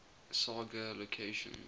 saga locations